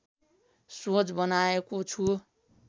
सोच बनाएको छु